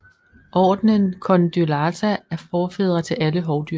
Ordenen Condylarthra er forfædre til alle hovdyr